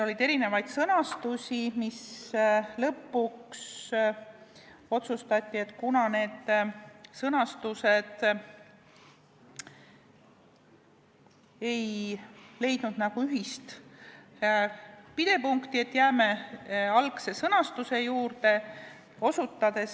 Oli erinevaid sõnastusi, lõpuks aga otsustati, et kuna neil ei ole ühist pidepunkti, siis jäädakse algse sõnastuse juurde.